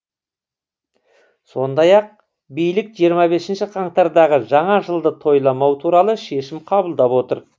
сондай ақ билік жиырма бесінші қаңтардағы жаңа жылды тойламау туралы шешім қабылдап отыр